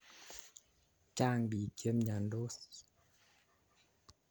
Chang' piik che miandos